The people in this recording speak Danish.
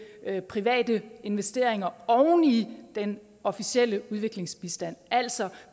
private investeringer oven i den officielle udviklingsbistand altså